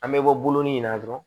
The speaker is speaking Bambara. An bɛ bɔ bolonin in na dɔrɔn